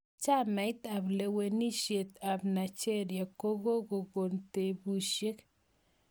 Chamait ap lewenisiet ap Nigeria kokongo tepusiek